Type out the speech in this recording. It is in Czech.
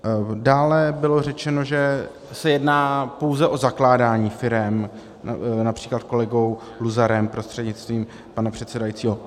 Dále bylo řečeno, že se jedná pouze o zakládání firem, například kolegou Luzarem prostřednictvím pana předsedajícího.